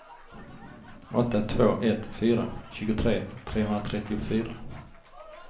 åtta två ett fyra tjugotre trehundratrettiofyra